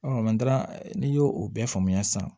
n'i y'o o bɛɛ faamuya sisan